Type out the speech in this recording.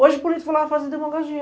Hoje o político vai lá fazer demagogia.